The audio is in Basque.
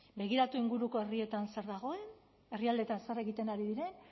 begiratu inguruko herrietan zer dagoen herrialdeetan zer egiten ari diren